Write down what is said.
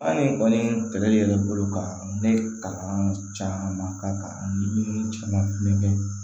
Hali kɔni kɛlɛli bolo ka ne kalan caman ka kan ani caman kɛ